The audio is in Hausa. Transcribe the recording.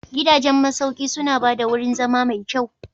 Gidajen masauki suna ba da wurin zama mai kyau.